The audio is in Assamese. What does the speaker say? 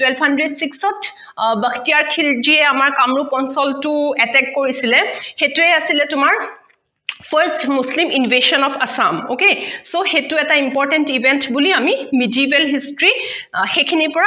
twelve hundred six ত bakhtiyar khilji য়ে আমাক কামৰূপ অঞ্চলটো attack কৰিছিলে সেইটোৱে আছিলে তোমাৰ first muslin invasion of assam okay so সেইটো এটা important event বুলি আমি medieval history অ সেইখিনি পৰা